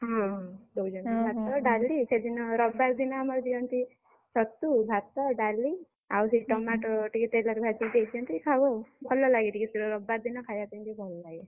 ହଁ ହଁ, ଦଉଛନ୍ତି ଭାତ, ଡାଲି ସେଦିନ ରବିବାର ଦିନ ଆମର ଦିଅନ୍ତି, ଛତୁ, ଭାତ, ଡାଲି, ଆଉ ସେ tomato ଟିକେ ତେଲରେ ଭାଜିକି ଦେଇଦିଅନ୍ତି ଖାଉ ଆଉ, ଭଲଲାଗେ ଟିକେ ସେଦିନ ରବିବାର ଦିନ ଖାଇବା ପାଇକି ଭଲ ଲାଗେ।